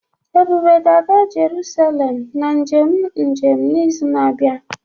Ebube ga-aga Jerusalem na njem njem n'izu na-abịa